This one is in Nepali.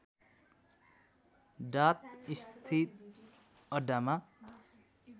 डात स्थित अड्डामा